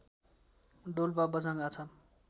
Dolpa Bajhang Achham